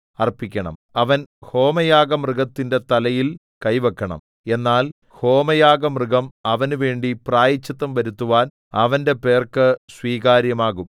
അവൻ ഹോമയാഗമൃഗത്തിന്റെ തലയിൽ കൈ വെക്കണം എന്നാൽ ഹോമയാഗമൃഗം അവനുവേണ്ടി പ്രായശ്ചിത്തം വരുത്തുവാൻ അവന്റെ പേർക്ക് സ്വീകാര്യമാകും